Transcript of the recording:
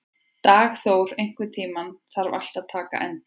Dagþór, einhvern tímann þarf allt að taka enda.